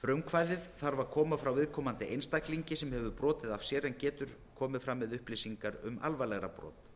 frumkvæðið þarf að koma frá viðkomandi einstaklingi sem hefur brotið af sér en getur komið fram með upplýsingar um alvarlegra brot